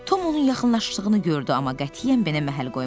Tom onun yaxınlaşdığını gördü, amma qətiyyən benə məhəl qoymadı.